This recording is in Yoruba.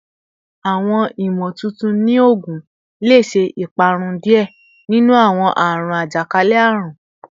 Awọn imotuntun ni oogun le ṣe iparun diẹ ninu awọn aarun ajakalẹ-arun